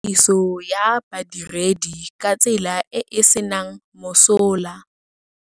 Tiriso ya badiredi ka tsela e e senang mosola.